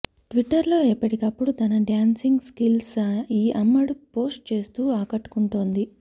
ట్విట్టర్లో ఎప్పటికప్పుడు తన డ్యాన్సింగ్ స్కిల్స్ని ఈ అమ్మడు పోస్ట్ చేస్తూ ఆకట్టుకుంటోంది